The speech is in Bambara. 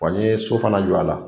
Wa n ye so fana jɔ a la.